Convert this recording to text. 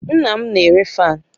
Nna m na-ere fáan